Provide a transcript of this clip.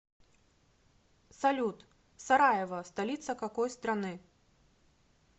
салют сараево столица какой страны